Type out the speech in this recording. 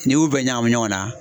N'i y'u bɛɛ ɲagami ɲɔgɔn na.